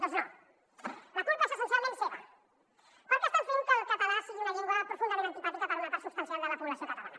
doncs no la culpa és essencialment seva perquè estan fent que el català sigui una llengua profundament antipàtica per a una part substancial de la població catalana